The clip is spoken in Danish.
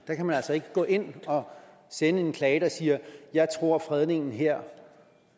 der kan man altså ikke gå ind og sende en klage der siger at jeg tror fredningen her